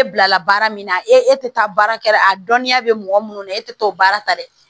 e bilala baara min na e tɛ taa baarakɛyɔrɔ la a dɔnniya bɛ mɔgɔ minnu na e tɛ taa o baara ta dɛ